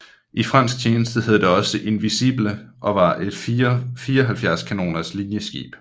I fransk tjeneste hed det også Invincible og var et 74 kanoners linjeskib